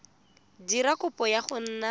dira kopo ya go nna